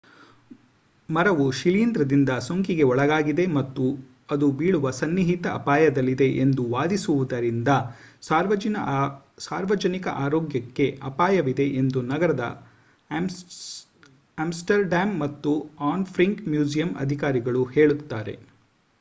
ಮರವು ಶಿಲೀಂಧ್ರದಿಂದ ಸೋಂಕಿಗೆ ಒಳಗಾಗಿದೆ ಮತ್ತು ಅದು ಬೀಳುವ ಸನ್ನಿಹಿತ ಅಪಾಯದಲ್ಲಿದೆ ಎಂದು ವಾದಿಸುವುದರಿಂದ ಸಾರ್ವಜನಿಕ ಆರೋಗ್ಯಕ್ಕೆ ಅಪಾಯವಿದೆ ಎಂದು ನಗರದ ಆಮ್ಸ್ಟರ್‌ಡ್ಯಾಮ್ ಮತ್ತು ಆನ್ ಫ್ರಾಂಕ್ ಮ್ಯೂಸಿಯಂ ಅಧಿಕಾರಿಗಳು ಹೇಳುತ್ತಾರೆ